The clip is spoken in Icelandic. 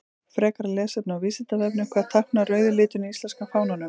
Frekara lesefni á Vísindavefnum: Hvað táknar rauði liturinn í íslenska fánanum?